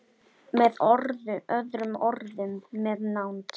Með öðrum orðum- með nánd.